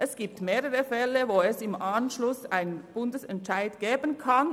Es gibt mehrere Fälle, bei denen es im Anschluss einen Bundesgerichtsentscheid geben kann.